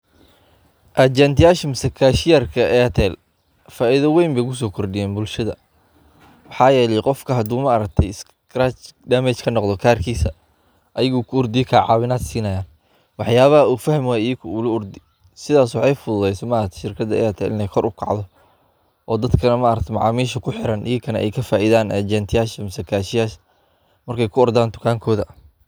waa adeeg lacag la'aan ah oo ay bixiso shirkadda kaas oo ku filan dadka raba inay si fudud u dirto, helaan, ama ilaaliyaan lacagta iyagoo adeegsanaya taleefoonka gacanta, waxaana ka mid ah faa'iidooyinka inaad ku samayn karto lacag bixinta adigoon isticmaalin, aad ugu shuban karto akoonkaaga bangiga si aad ugu badasho lacagtaada.